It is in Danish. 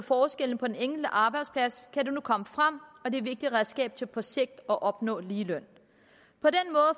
forskelle på den enkelte arbejdsplads kan det nu komme frem og det er et vigtigt redskab til på sigt at opnå ligeløn